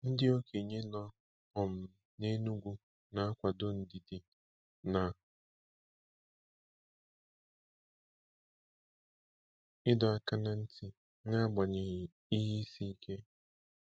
Ndị okenye nọ um n’Enugwu na-akwado ndidi na ịdọ aka ná ntị n’agbanyeghị ihe isi ike.